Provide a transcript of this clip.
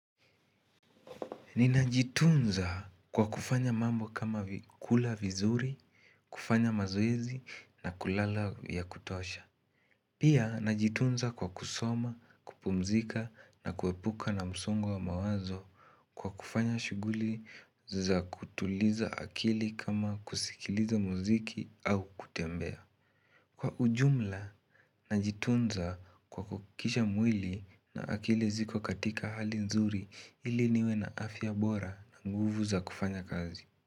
Ninajitunza kwa kufanya mambo kama kula vizuri, kufanya mazoezi na kulala ya kutosha Pia najitunza kwa kusoma, kupumzika na kuepuka na msongo wa mawazo Kwa kufanya shughuli za kutuliza akili kama kusikiliza mziki au kutembea Kwa ujumla najitunza kwa kuhakikisha mwili na akili ziko katika hali nzuri ili niwe na afya bora na nguvu za kufanya kazi.